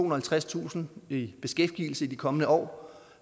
og halvtredstusind i beskæftigelse i de kommende år